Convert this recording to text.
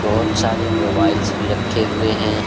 बहुत सारे मोबाइल्स भी रखे हुए हैं।